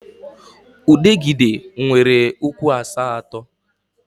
Udegịde nwere ụkwụ asatọ